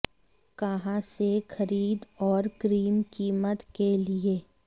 कहां से खरीद और क्रीम कीमत के लिए